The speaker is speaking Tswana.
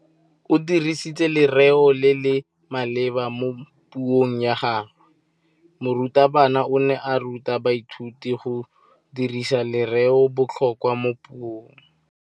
O dirisitse lerêo le le maleba mo puông ya gagwe. Morutabana o ne a ruta baithuti go dirisa lêrêôbotlhôkwa mo puong.